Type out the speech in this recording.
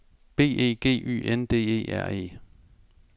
B E G Y N D E R E